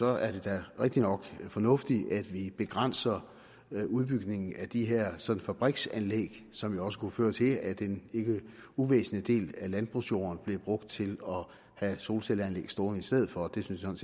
er det da rigtig nok fornuftigt at vi begrænser udbygningen af de her sådan fabriksanlæg som jo også kunne føre til at en ikke uvæsentlig del af landbrugsjorden blev brugt til at have solcelleanlæg stående på i stedet for det synes jeg